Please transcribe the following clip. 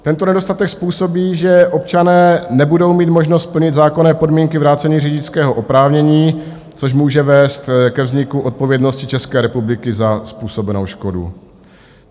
Tento nedostatek způsobí, že občané nebudou mít možnost plnit zákonné podmínky vrácení řidičského oprávnění, což může vést ke vzniku odpovědnosti České republiky za způsobenou škodu.